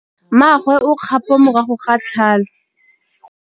Mmagwe o kgapô morago ga tlhalô.